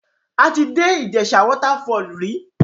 A ti dé Ìjèṣà waterfall rí.